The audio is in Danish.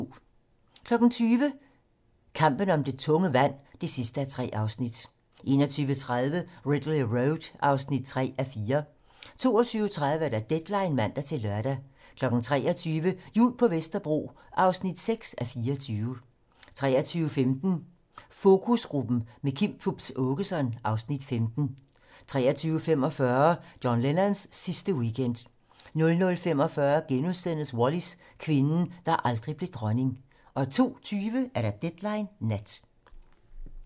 20:00: Kampen om det tunge vand (3:3) 21:30: Ridley Road (3:4) 22:30: Deadline (man-lør) 23:00: Jul på Vesterbro (6:24) 23:15: Fokusgruppen - med Kim Fupz Aakeson (Afs. 15) 23:45: John Lennons sidste weekend 00:45: Wallis - kvinden, der aldrig blev dronning * 02:20: Deadline nat